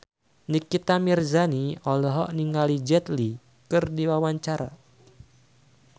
Nikita Mirzani olohok ningali Jet Li keur diwawancara